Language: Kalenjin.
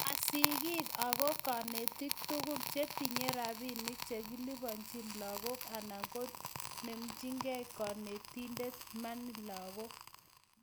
ma sigiik ago konetiik tugul chetinyei robinik chekilupanjini lagook anan koinemjigei konetindet money lagook